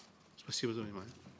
спасибо за внимание